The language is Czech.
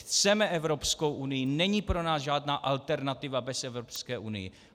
Chceme Evropskou unii, není pro nás žádná alternativa bez Evropské unie.